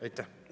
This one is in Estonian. Aitäh!